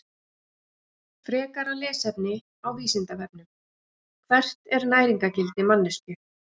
Frekara lesefni á Vísindavefnum: Hvert er næringargildi manneskju?